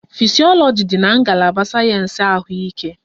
Fisyọlọji dị na ngalaba sayensị ahụike